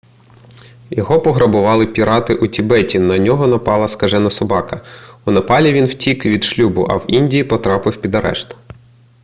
його пограбували пірати у тібеті на нього напала скажена собака у непалі він втік від шлюбу а в індії потрапив під арешт